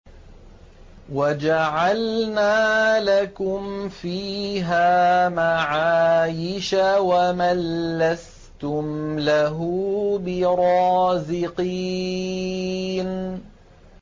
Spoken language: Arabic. وَجَعَلْنَا لَكُمْ فِيهَا مَعَايِشَ وَمَن لَّسْتُمْ لَهُ بِرَازِقِينَ